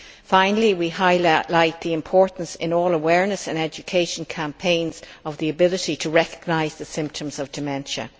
Finally we also highlight the importance, in all awareness and education campaigns, of the ability to recognise the symptoms of dementia.